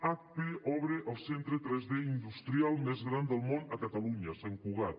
hp obre el centre 3d industrial més gran del món a catalunya a sant cugat